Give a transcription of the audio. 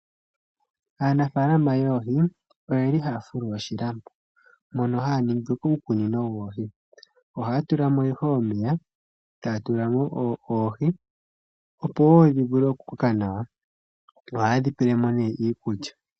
Aanafaalama yoohi oyeli haya fulu oshilambo mono haya ningi uukunino woohi. Ohaya tula mo ihe omeya ,taya tula mo oohi opo woo dhivule okukoka nawa. Ohaye dhi pelemo nee iikulya.